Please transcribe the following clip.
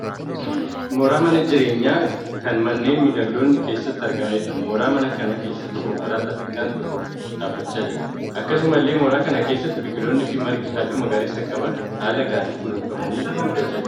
Mooraa mana jireenyaa kan manneen mimidhagoon keessatti argamaniidha. Mooraa manaa keessa konkolaataan xiqqaan tokko dhaabbachaa jira. Akkasumallee mooraa kana keessa biqiloonnii fi margi halluu magariisa qaban haala gaariin kunuunfamanii guddachaa jiru.